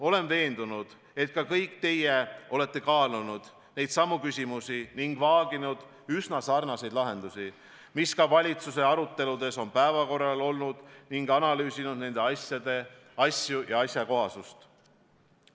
Olen veendunud, et kõik te olete kaalunud neidsamu küsimusi ning vaaginud üsna sarnaseid lahendusi, mis valitsuse aruteludes on päevakorral olnud, ning analüüsinud nende asjakohasust.